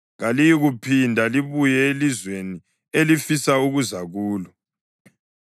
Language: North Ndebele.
Kaliyikuphinda libuye elizweni elifisa ukuza kulo.”